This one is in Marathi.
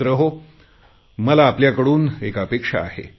मित्रहो आपल्याकडून मला एक अपेक्षा आहे